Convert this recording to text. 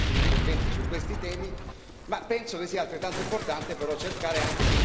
ma penso che sia altrettanto importante però cercare anche di indicare alcuni elementi di chiarezza.